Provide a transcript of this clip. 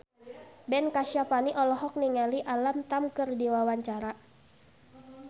Ben Kasyafani olohok ningali Alam Tam keur diwawancara